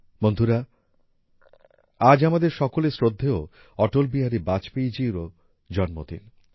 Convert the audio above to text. বন্ধুরা আজ আমাদের সকলের শ্রদ্ধেয় অটল বিহারী বাজপেয়ী জিরও জন্মদিন